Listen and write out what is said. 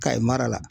Kayi mara la